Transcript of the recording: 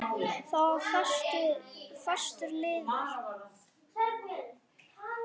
Það var fastur liður.